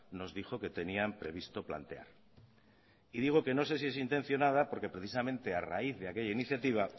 nos dijo que tenían previsto plantear y digo que no sé si es intencionada porque precisamente a raíz de aquella iniciativa